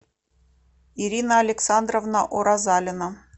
ирина александровна уразалина